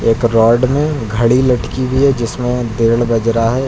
एक रॉड में घड़ी लटकी हुई है जिसमें डेढ़ बज रहा है।